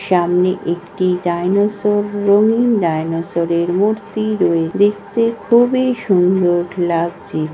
সামনে একটি ডাইনোসর রঙিন ডাইনোসর -এর মূর্তি রই দেখতে খুবই সুন্দর লাগছে।